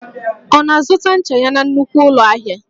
Ọ na-azụta ncha ya na nnukwu ụlọ ahịa?